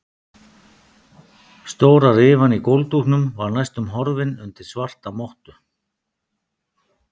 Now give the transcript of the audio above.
Stóra rifan í gólfdúknum var næstum horfin undir svarta mottu.